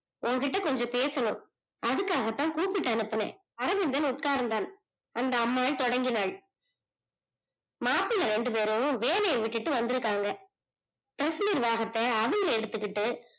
உன் கிட்ட கொஞ்சம் பேசணும் அதுக்காகதான் கூபிட்டு அனுபினேன் அரவிந்தன் உக்கார்ந்தான் அந்த அம்மா தொடங்கினால் மாப்பிள்ளை இரண்டு பேரும் வேலையே விட்டுட்டு வந்துருக்காங்க press நிர்வாகத்த அவங்க எடுத்திட்டு